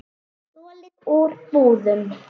Stolið úr búðum.